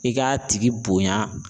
I k'a tigi bonya.